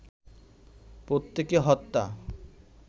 প্রত্যেকে হত্যা